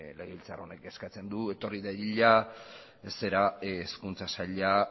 legebiltzar honek eskatzen du etorri dadila hezkuntza saila